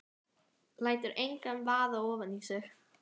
Lætur engan vaða ofan í sig.